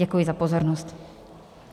Děkuji za pozornost.